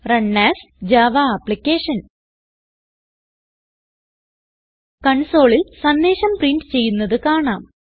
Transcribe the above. run as Java applications കൺസോളിൽ സന്ദേശം പ്രിന്റ്ചെയ്യുന്നത് കാണാം